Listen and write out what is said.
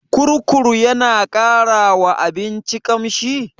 Kurkur yana ƙara wa abinci ƙamshi?